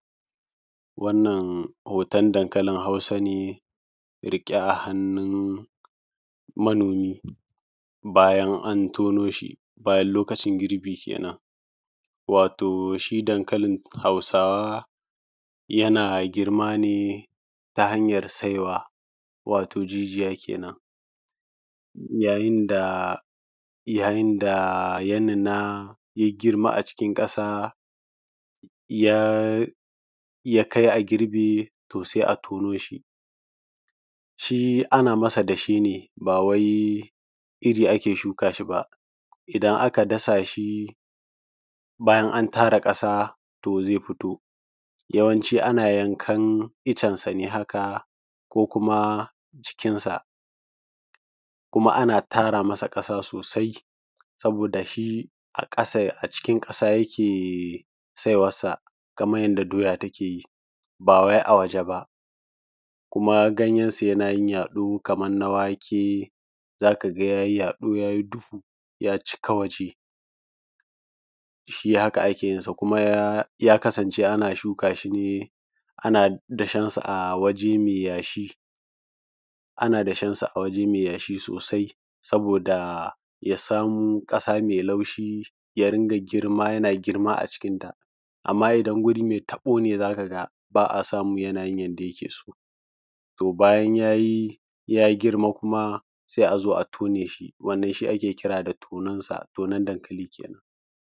Wannan hoton dankalin hausa ne riƙe a hannun manomi, bayan an tono shi, bayan lokacin girbi kenan. Wato shi dankalin hausawa yana girma ne ta hanyar saiwa, wato jijiya kenan. Yayin da ya nuna, ya girma a cikin ƙasa ya kai a girbe, to sai a tono shi. Shi ana masa dashe ne bawai iri ake shuka shi ba. idan aka dasa shi bayan an tara ƙasa to zai fito. Yawanci ana yankan iccen sa ne haka, ko kuma cikinsa. Kuma ana tara masa ƙasa sosai saboda shi a cikin ƙasa yake saiwan sa kamar yanda doya take yi, ba wai a ya ringa girma yana girma a cikinta. Amma idan guri mai taɓo ne za ka ga ba a samu yana yin yanda yake so. To bayana ya girma sai a zo a tone shi, wannan shi ake kira da tonon dankali.